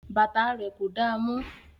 Bàtà rẹ̀ kò damọ́